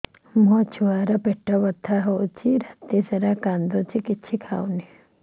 ମୋ ଛୁଆ ର ପେଟ ବଥା ହଉଚି ରାତିସାରା କାନ୍ଦୁଚି କିଛି ଖାଉନି